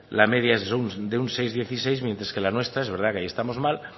la media es de un seis coma dieciséis mientras que la nuestra es verdad que ahí estamos mal